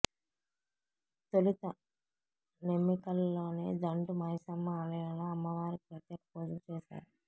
తొలుత నెమ్మికల్లోని దండు మైసమ్మ ఆలయంలో అమ్మవారికి ప్రత్యేక పూజలు చేశారు